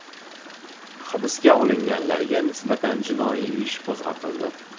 Hibsga olinganlarga nisbatan jinoiy ish qo‘zg‘atildi.